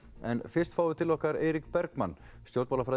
en fyrst fáum við til okkar Eirík Bergmann